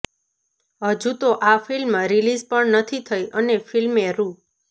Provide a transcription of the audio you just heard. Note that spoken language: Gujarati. હજુ તો આ ફિલ્મ રીલીઝ પણ નથી થઈ અને ફિલ્મે રૂ